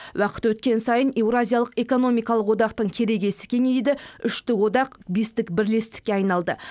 уақыт өткен сайын еуразиялық экономикалық одақтың керегесі кеңейді үштік одақ бестік бірлестікке айналды